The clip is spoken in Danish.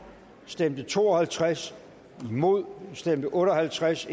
stemte to og halvtreds imod stemte otte og halvtreds